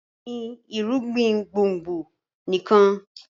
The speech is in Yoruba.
gbìn irúgbìn gbòngbò nikan!